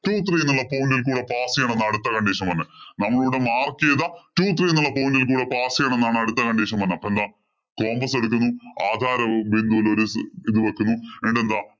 Two three എന്ന point ഇല്‍ കൂടി pass ചെയ്യണം എന്നാ അടുത്ത condition വന്നേ. നമ്മളിവിടെ mark ചെയ്ത Two three എന്ന point ഇല്‍ കൂടി pass ചെയ്യണം എന്നാ അടുത്ത condition വന്നേ. അപ്പോള്‍ എന്താ? compass ആധാരബിന്ദുവില്‍ ഒരു ഇത് വയ്ക്കുന്നു. എന്നിട്ടെന്താ.